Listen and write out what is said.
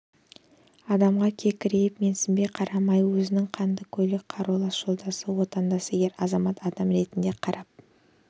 адамға кекірейіп менсінбей қарамай өзінің қанды көйлек қарулас жолдасы отандасы ер азамат адам ретінде қарап